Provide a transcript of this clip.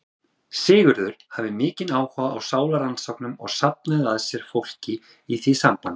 Sigurður hafði mikinn áhuga á sálarrannsóknum og safnaði að sér fólki í því sambandi.